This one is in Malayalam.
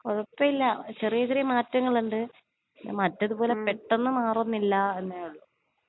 കൊഴപ്പമില്ലാ ചെറിയ ചെറിയ മാറ്റങ്ങളുണ്ട്. പിന്നെ മറ്റത് പോലെ പെട്ടെന്ന് മാറുന്നില്ലാ എന്നേ ഒള്ളു.